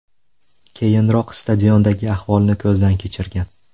Keyinroq, stadiondagi ahvolni ko‘zdan kechirgan.